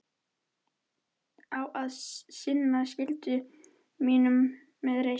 Á að sinna skyldu mínum með reisn.